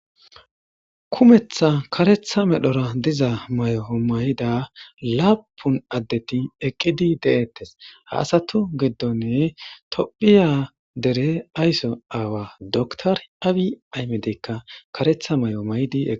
Kumetha kareththa medhora diza moyo ma7ida laapun addeti eqqidi de7eeetees. Ha asatu giddon tophiya aysaawa dokiter Aabi aahimedekka karetha moay mayidi eqqidees.